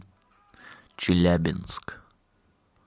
челябинск